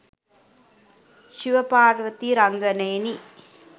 Shiva Parvati රංගනයෙනි.